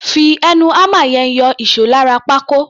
Fi ẹnu hámà yẹn yọ ìṣó lára pákó.